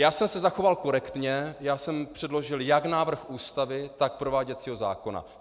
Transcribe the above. Já jsem se zachoval korektně, já jsem předložil jak návrh Ústavy, tak prováděcího zákona.